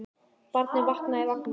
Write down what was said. Barnið vaknaði í vagninum.